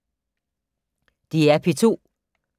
DR P2